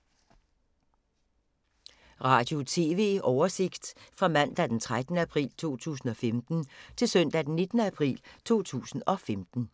Radio/TV oversigt fra mandag d. 13. april 2015 til søndag d. 19. april 2015